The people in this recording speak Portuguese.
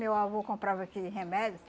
Meu avô comprava aquele remédio,